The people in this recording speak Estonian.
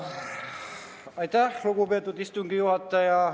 Aitäh, lugupeetud istungi juhataja!